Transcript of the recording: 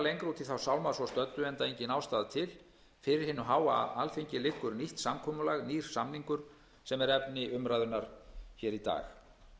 stöddu enda engin ástæða til fyrir hinu háa alþingi liggur nýtt samkomulag nýr samningur sem er efni umræðunnar hér í dag